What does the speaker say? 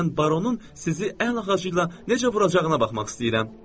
Mən baronun sizi əl ağacı ilə necə vuracağına baxmaq istəyirəm.